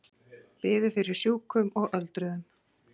Biður fyrir sjúkum og öldruðum